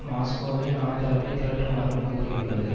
மாஸ்கோவின் ஆதரவை திரட்டுமாறும் கூறியுள்ளது